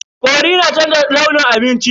Cori na canza launin abinci.